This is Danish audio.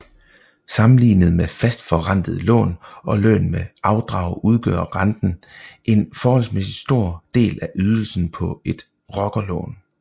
Sammenlignet med fastforrentede lån og lån med afdrag udgør renten en forholdsmæssigt stor del af ydelsen på et rockerlån